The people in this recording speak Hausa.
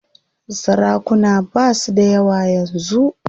Sarakuna basu dayawa yanzu.